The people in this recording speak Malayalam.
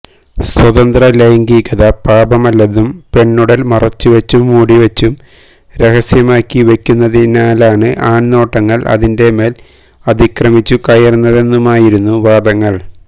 സ്വതന്ത്ര ലൈംഗികത പാപമല്ലെന്നും പെണ്ണുടല് മറച്ചുവെച്ചും മൂടിവെച്ചും രഹസ്യമാക്കി വെക്കുന്നതിനാലാണ് ആണ്നോട്ടങ്ങള് അതിന്റെ മേല് അതിക്രമിച്ചു കയറുന്നതെന്നുമായിരുന്നു വാദങ്ങള്